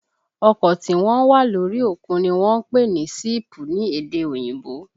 Ọkọ tí wọ́n ń wà lórí òkun ni wọ́n ń pè ní síìpù ní èdè òyìnbó